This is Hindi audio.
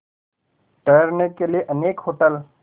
ठहरने के लिए अनेक होटल